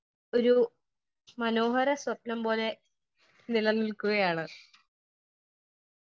Speaker 1 ഒരു മനോഹര സ്വപ്നം പോലെ നിലനിലക്കുകയാണ് .